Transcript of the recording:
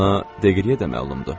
Ona Deqriyə də məlumdur.